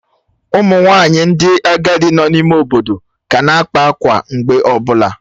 Ụmụ nwanyị ndị agadi nọ n'ime ime obodo ka na-akpa akwa mgbe ọ bụla.